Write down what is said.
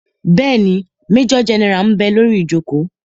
Bẹ́ẹ̀ni, majọ gẹ́nẹ́rà ḿ bẹ lórí ìjòkó